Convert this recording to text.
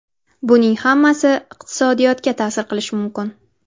Buning hammasi iqtisodiyotga ta’sir qilishi mumkin.